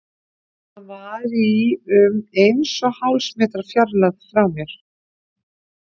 Hann var í um eins og hálfs metra fjarlægð frá mér.